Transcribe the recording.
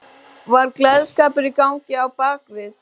Kemur til sögu Tryggvi Ólafsson lífskúnstner með meiru.